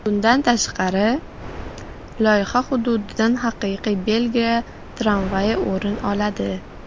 Bundan tashqari, loyiha hududidan haqiqiy Belgiya tramvayi o‘rin oladi.